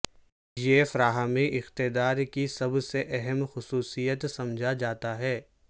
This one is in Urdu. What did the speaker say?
یہ فراہمی اقتدار کی سب سے اہم خصوصیت سمجھا جاتا ہے